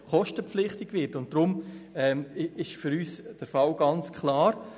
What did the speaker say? Deshalb ist für uns der Fall ganz klar.